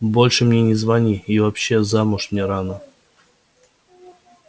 больше мне не звони и вообще замуж мне рано